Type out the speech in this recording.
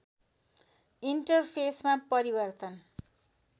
enter फेसमा परिवर्तन